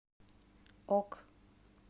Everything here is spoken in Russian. ок